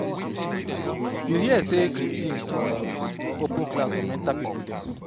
You hear say Christine open class for mental people